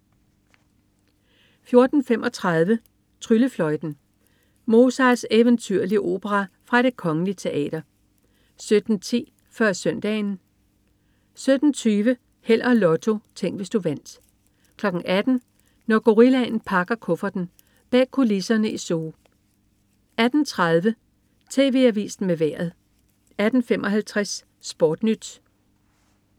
14.35 Tryllefløjten. Mozarts eventyrlige opera fra Det Kgl. Teater 17.10 Før Søndagen 17.20 Held og Lotto. Tænk, hvis du vandt 18.00 Når gorillaen pakker kufferten. Bag kulisserne i zoo 18.30 TV Avisen med Vejret 18.55 SportNyt